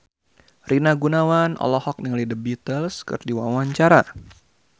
Rina Gunawan olohok ningali The Beatles keur diwawancara